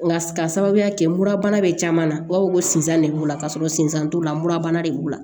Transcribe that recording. Nka k'a sababuya kɛ murabana bɛ caman na u b'a fɔ ko sinsan de b'u la ka sɔrɔ sinzan t'o la murabana de b'u la